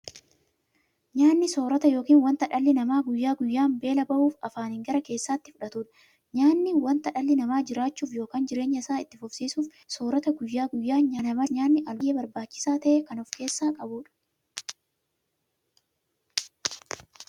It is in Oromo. Nyaanni soorota yookiin wanta dhalli namaa guyyaa guyyaan beela ba'uuf afaaniin gara keessaatti fudhatudha. Nyaanni wanta dhalli namaa jiraachuuf yookiin jireenya isaa itti fufsiisuuf soorata guyyaa guyyaan nyaatamudha. Kana malees nyaanni albuuda baay'ee barbaachisaa ta'e kan ofkeessaa qabudha.